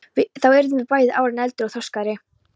Þá yrðum við bæði árinu eldri og þroskaðri.